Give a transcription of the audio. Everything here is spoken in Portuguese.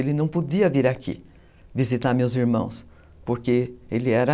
Ele não podia vir aqui visitar meus irmãos, porque ele era...